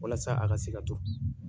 Walasa a ka se ka to bi